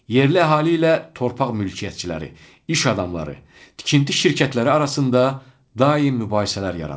Yerli əhali ilə torpaq mülkiyyətçiləri, iş adamları, tikinti şirkətləri arasında daim mübahisələr yaranır.